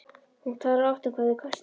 Hún talar oft um hvað þeir kostuðu.